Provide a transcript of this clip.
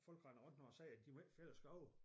Folk render rundt nu og siger de må ikke fælde æ skove